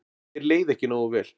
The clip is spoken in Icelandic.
Þér leið ekki nógu vel.